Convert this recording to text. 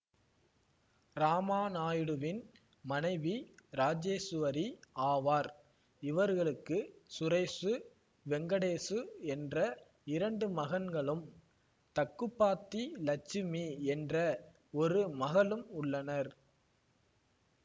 இராமாநாயுடுவின் மனைவி இராசேசுவரி ஆவார் இவர்களுக்கு சுரேசு வெங்கடேசு என்ற இரண்டு மகன்களும் தக்குபாத்தி லட்சுமி என்ற ஒரு மகளும் உள்ளனர்